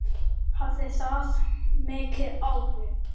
Hafði það mikil áhrif?